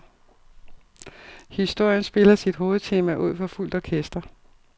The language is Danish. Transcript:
Historien spiller sit hovedtema ud for fuldt orkester.